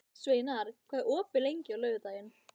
Sveinar, hvað er opið lengi á laugardaginn?